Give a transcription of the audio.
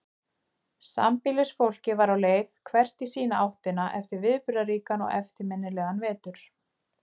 Sambýlisfólkið var á leið hvert í sína áttina eftir viðburðaríkan og eftirminnilegan vetur.